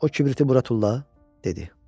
O kibriti bura tulla, dedi.